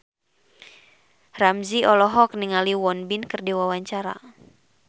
Ramzy olohok ningali Won Bin keur diwawancara